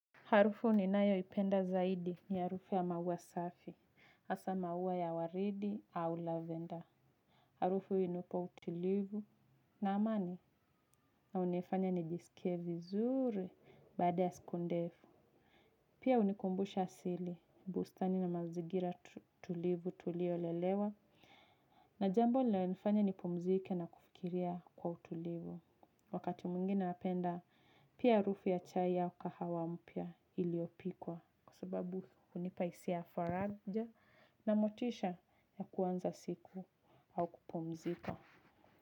Harufu ninayoipenda zaidi ni harufu ya maua safi, hasa maua ya waridi au lavender. Harufu ii unipa utulivu na amani na unifanya nijisikie vizuri baada ya siku ndefu. Pia unikumbusha sili, bustani na mazigira tulivu tuliolelewa na jambo lanifanya nipumzike na kufikiria kwa utulivu. Wakati mwingine napenda pia harufu ya chai au kahawa mpya iliopikwa. Kwa sababu hunipa hisia faraja na motisha ya kuwanza siku au kupumzika.